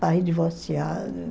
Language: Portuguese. Pai divorciado